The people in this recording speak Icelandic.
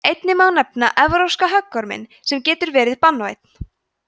einnig má nefna evrópska höggorminn sem getur verið banvænn